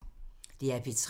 DR P3